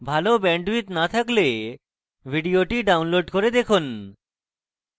ভাল bandwidth না থাকলে ভিডিওটি download করে দেখুন